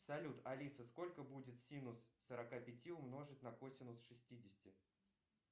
салют алиса сколько будет синус сорока пяти умножить на косинус шестидесяти